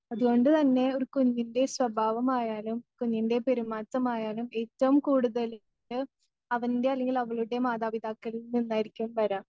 അതുകൊണ്ട് തന്നെ ഒരു കുഞ്ഞിൻ്റെ സ്വഭാവമായാലും കുഞ്ഞിൻ്റെ പെരുമാറ്റമായാലും ഏറ്റവും കൂടുതൽ ല് അവൻ്റെ അല്ലെങ്കിൽ അവളുടെ മാതാപിതാക്കളിൽ നിന്നായിരിക്കും വര്യാ.